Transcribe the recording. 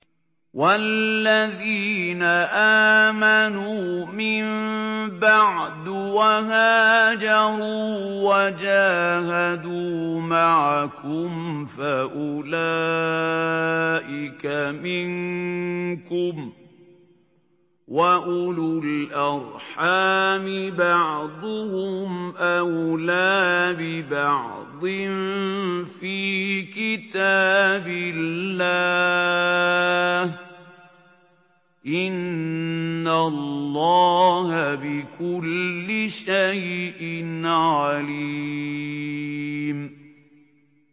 وَالَّذِينَ آمَنُوا مِن بَعْدُ وَهَاجَرُوا وَجَاهَدُوا مَعَكُمْ فَأُولَٰئِكَ مِنكُمْ ۚ وَأُولُو الْأَرْحَامِ بَعْضُهُمْ أَوْلَىٰ بِبَعْضٍ فِي كِتَابِ اللَّهِ ۗ إِنَّ اللَّهَ بِكُلِّ شَيْءٍ عَلِيمٌ